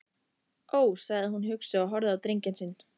Ó, sagði hún hugsi og horfði á drenginn sinn.